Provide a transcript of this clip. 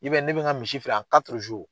I b'a ye , ne be n ka misi feere an .